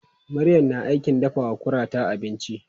Maryam na aikin dafawa kurata abinci.